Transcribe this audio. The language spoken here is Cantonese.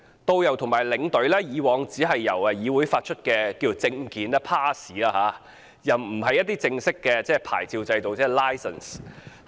導遊和領隊以往只由旅議會發出證件，而不是正式的牌照。